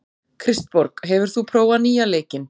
Kristborg, hefur þú prófað nýja leikinn?